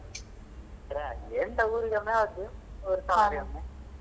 ರಜೆ ಎಂತ ಊರಿನ match .